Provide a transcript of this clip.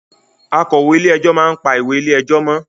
Akọ̀wé ilé ẹjọ́ máa ń pa ìwé ilé ẹjọ́ mọ́